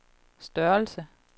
størrelse